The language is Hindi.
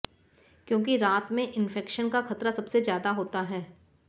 क्योंकि रात में इंफेक्शन का खतरा सबसे ज्यादा होता है